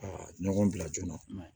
A ɲɔgɔn bila joona